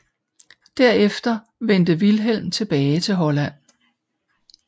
Derefter vendte Vilhelm tilbage til Holland